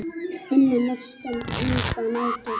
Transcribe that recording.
Unnu mestan hluta nætur.